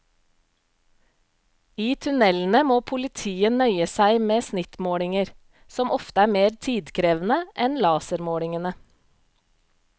I tunnelene må politiet nøye seg med snittmålinger, som ofte er mer tidkrevende enn lasermålingene.